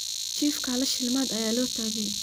Chifkaa hala shilimad aya lotagey.